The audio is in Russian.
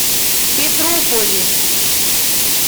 петрополис